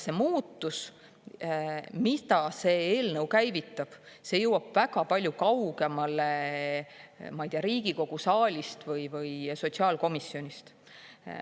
See muutus, mida see eelnõu käivitab, jõuab väga palju kaugemale Riigikogu saalist või sotsiaalkomisjonist.